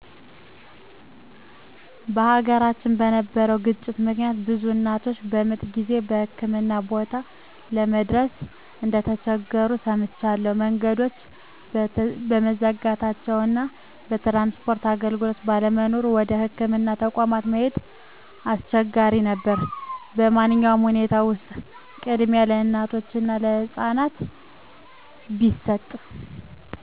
በሀገራችን በነበረው ግጭት ምክንያት ብዙ እናቶች በምጥ ጊዜ የህክምና ቦታ ለመድረስ እንደተቸገሩ ሰምቻለሁ። መንገዶች በመዘጋታቸው እና የትራንስፖርት አገልግሎት ባለመኖሩ ወደ ህክምና ተቋማት መሄድ አሰቸጋሪ ነበር። በማንኛውም ሁኔታ ውስጥ ቅድሚያ ለእናቶች እና ህፃናት ቢሰጥ።